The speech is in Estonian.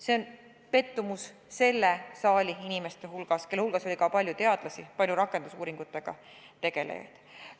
See oli selles saalis istunud inimestele, kelle hulgas oli ka palju teadlasi, palju rakendusuuringutega tegelejaid, suur pettumus.